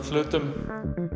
hlutum